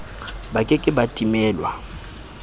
ba ke ke ba timelwa